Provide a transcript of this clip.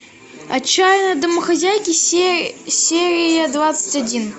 отчаянные домохозяйки серия двадцать один